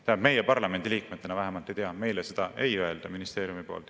Tähendab, meie parlamendiliikmetena vähemalt ei tea, meile seda ei öelda ministeeriumist.